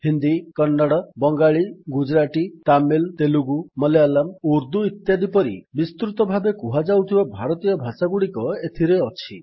ହିନ୍ଦୀ କନ୍ନଡ଼ ବଙ୍ଗାଳୀ ଗୁଜୁରାଟୀ ତାମିଲ ତେଲୁଗୁ ମଲାୟାଲମ ଉର୍ଦ୍ଦୁ ଇତ୍ୟାଦି ପରି ବିସ୍ତୃତ ଭାବେ କୁହାଯାଉଥିବା ଭାରତୀୟ ଭାଷାଗୁଡିକ ଏଥିରେ ଅଛି